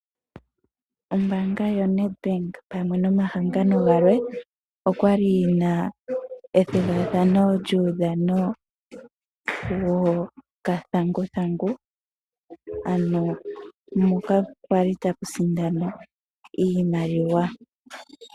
Ombaanga yoNedbank pamwe nomahangano galwe okwali yina ethigathano lyuudhano wokathanguthangu ano moka kwali tamu sindanwa iimaliwa.